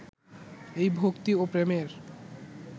এই ভক্তি ও প্রেমের